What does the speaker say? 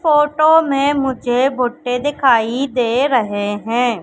Photo में मुझे भुट्टे दिखाई दे रहे हैं।